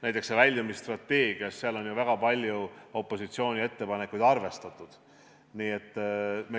Näiteks on väljumisstrateegias ju väga palju opositsiooni ettepanekuid arvestatud.